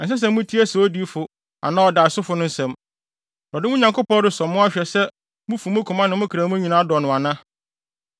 ɛnsɛ sɛ mutie saa odiyifo anaa ɔdaesofo no nsɛm. Awurade, mo Nyankopɔn, resɔ mo ahwɛ sɛ mufi mo koma ne mo kra mu nyinaa dɔ no ana.